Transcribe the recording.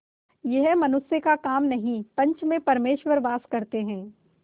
यह मनुष्य का काम नहीं पंच में परमेश्वर वास करते हैं